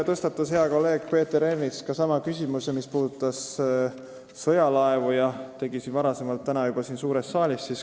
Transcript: Hea kolleeg Peeter Ernits tõstatas sama küsimuse, mille kohta ta küsis ka täna siin suures saalis ja mis puudutab sõjalaevu.